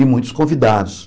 E muitos convidados.